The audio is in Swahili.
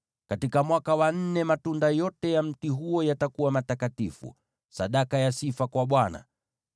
Katika mwaka wa nne matunda yote ya mti huo yatakuwa matakatifu, sadaka ya sifa kwa Bwana .